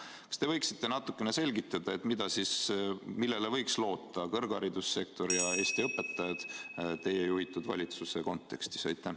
Kas te võiksite natukene selgitada, millele võiksid loota kõrgharidussektor ja Eesti õpetajad teie juhitud valitsuse kontekstis?